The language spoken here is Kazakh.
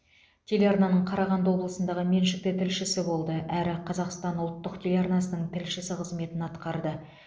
телеарнаның қарағанды облысындағы меншікті тілшісі болды әрі қазақстан ұлттық телеарнасының тілшісі қызметін атқарды